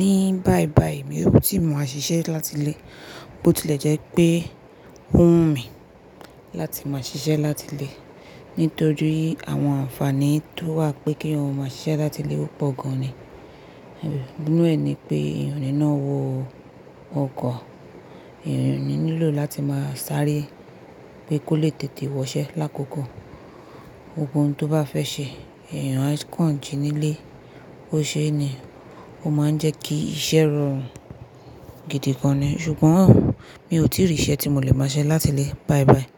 Ní báibáyìí mi ò tíì máa ṣiṣẹ́ láti ilé, bó tilẹ̀ jẹ́ pé ó wù mí láti máa ṣiṣẹ́ láti ilé. Nítorí àwọn àǹfààní tó wà pé kí eyan máa ṣiṣẹ́ láti ilé ó pọ̀ gan ni. E nínú ẹ̀ ni pé èèyàn nínà wọ ọkọ̀, èèyàn ní lílò láti máa sáré pé kó lè tètè wọṣẹ́ lákòókò gbogbohun tó bá fẹ́ ṣẹ. Ẹ̀yàn kàn jí nílé, ó ṣe é ní, ó máa ń jẹ́ kí iṣẹ́ rọrùn gidi gan ni. Ṣùgbọ́n mi ò tíì rí iṣẹ́ tí mo lè máa ṣẹ́ láti ilé báibáyìí.